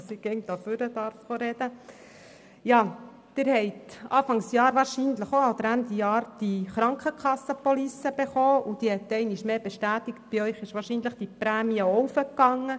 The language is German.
Wahrscheinlich haben Sie auch Ende Jahr die Police der Krankenkasse bekommen, und wahrscheinlich hat sich auch Ihre Prämie erhöht.